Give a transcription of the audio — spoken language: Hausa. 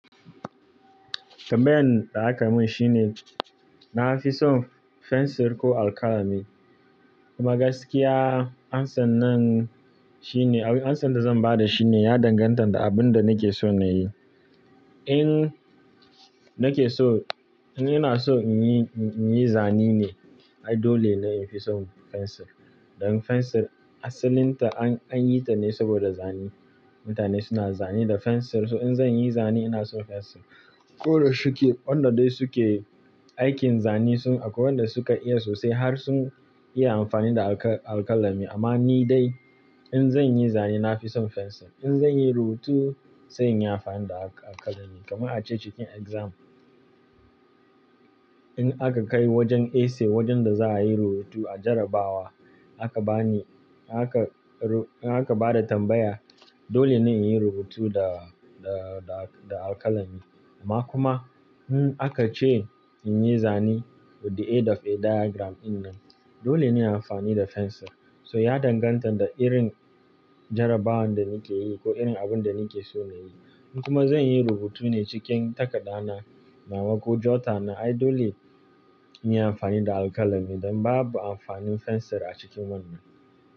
Tambayan da aka mun shine, na fi son fensir ko alkalami? Kuma gaskiya amsannan shine, awu amsan da zan ba da shi ne ya danganta da abin da nake so na yi. In nake so, ina so in yi, in yi zane ne, ai dole ne in fi son fensir. Dan fensir asalin ta an, an yi ta ne saboda zane. Mutane suna zane da fensir, so in zan yi zane ina so fensir. Ko da shike, wanda dai su ke aikin zane sun aku, wanda su ka iya sosai har sun iya amfani da alka-alkalami. Amma ni dai in zan yi zane na fi son fensir. In zan yi rubutu sai in yi amfani da alka-alkalami. Kaman a ce cikin exam, in aka kai wajen essay, wajen da za a yi rubutu a jarabawa aka bani, aka ru-- in aka ba da tambaya, dole ne in yi rubutu da, da, da alkalami. Amma kuma in aka ce in yi zane with the aid of a diagram ɗin nan, dole ne in yi amfani da fensir. So ya danganta da irin jarabawan da nake yi ko irin abin da nake so na yi. In kuma zan yi rubutu ne cikin takada na nawa ko jotter na, ai dole in yi amfani da alkalami. Dan babu amfanin fensir a cikin wannan.